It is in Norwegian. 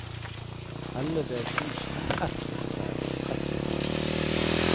elleve tusen ett hundre og trettito